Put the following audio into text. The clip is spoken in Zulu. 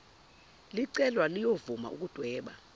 licelwa liyovuma ukudweba